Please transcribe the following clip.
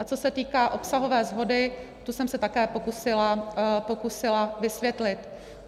A co se týká obsahové shody, tu jsem se také pokusila vysvětlit.